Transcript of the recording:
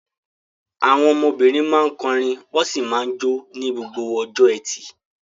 Àwọn ọmọbìnrin máa ń kọrin wọ́n sì máa ń jó ní gbogbo ọjọ́ ẹtì.